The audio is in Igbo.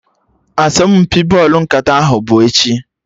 Asọmpi bọlụ nkata ahụ bụ echi